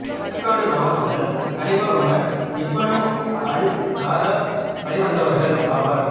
ஆற்காடு நவாப்புகள் கலிபா Umar ibn al Khattab வழிவந்தவர்கள் ஆவர்